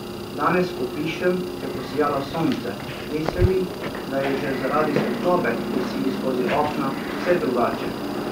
Danes, ko pišem, je posijalo sonce, zdi se mi, da je že zaradi svetlobe, ki sili skozi okna, vse drugače!